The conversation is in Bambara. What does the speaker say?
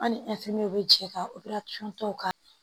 An ni bɛ jɛ ka ka